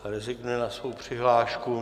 Ta rezignuje na svou přihlášku.